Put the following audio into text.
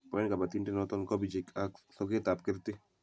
boen kabotindenoto kobichek ak sokekab kerti